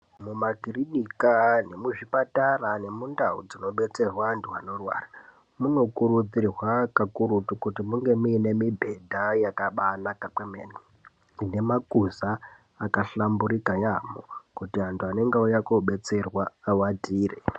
Mumakirinika nemuzvipatara nemundau dzinobetserwa andu anorwara munokurudzirwa kukurutu kuti munge mune mibhedha yakabanaka kwemene ine makuza akahlamburika yaamho kuti andu anenge auya kobetserwa awatire.